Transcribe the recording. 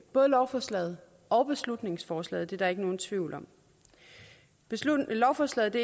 både lovforslaget og beslutningsforslaget det er der ikke nogen tvivl om lovforslaget